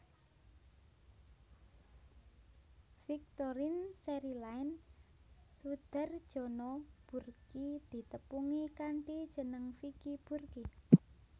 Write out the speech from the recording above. Victorine Cherryline Soedarjono Burki ditepungi kanthi jeneng Vicky Burky